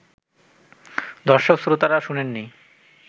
দর্শক-শ্রোতারা শোনেননি